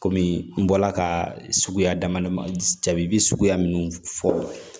Kɔmi n bɔla ka suguya damadɔ jabi suguya minnu fɔ